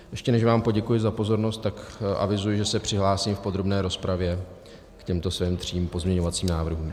Ještě než vám poděkuji za pozornost, tak avizuji, že se přihlásím v podrobné rozpravě k těmto svým třem pozměňovacím návrhům.